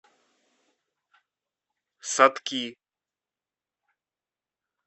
сатки